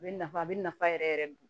A bɛ nafa a bɛ nafa yɛrɛ yɛrɛ don